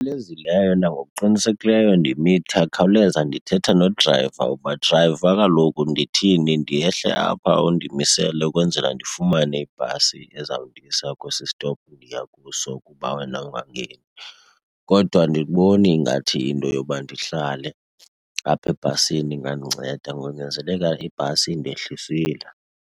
nangokuqinisekileyo khawuleza ndithetha nodrayiva uba, drayiva kaloku ndithini. Ndehle apha, undimisele ukwenzela ndifumane ibhasi ezawundisa kwesi sitopu ndiya kuso kuba wena ungangeni? Kodwa andiboni ingathi into yoba ndihlale apha ebhasini ingandinceda, konyanzeleka ibhasi indehlisile.